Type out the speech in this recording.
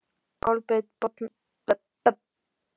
Kolbeinn botnaði þá sjálfur vísuna: